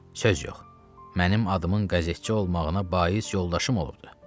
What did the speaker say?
Söz yox, mənim adımın qəzetçi olmağına bais yoldaşım olubdur.